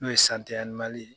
N'o ye ye.